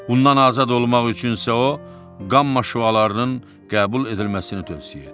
Bundan azad olmaq üçün isə o qamma şüalarının qəbul edilməsini tövsiyə etdi.